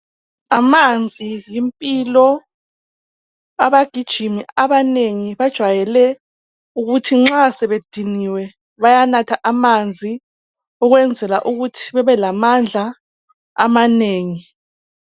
Amanzi yimpilo abagijimi abanengi bajwayele ukuthi nxa sebediniwe bayanatha amanzi ukwenzela ukuthi bebe lamandla amanengi.